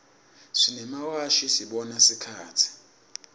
simemawashi sibona sikhatsi